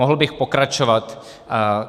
Mohl bych pokračovat.